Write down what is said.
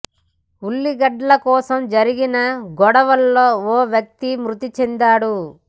ఉల్లిగడ్డల కోసం జరిగిన గొడవలో ఓ వ్యక్తి మృతి చెందాడు